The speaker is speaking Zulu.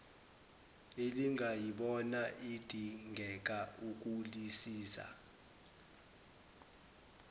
elingayibona idingeka ukulisiza